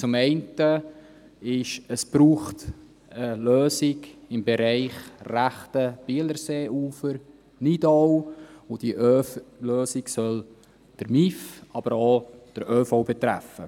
Zum einen braucht es eine Lösung im Bereich rechtes BielerseeuferNidau, und diese Lösung soll den motorisierter Individualverkehr (MIV), aber auch den ÖV betreffen.